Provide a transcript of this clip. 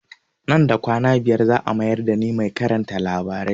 Nan da kwana biyar za a mayar da ni mai karanta labarai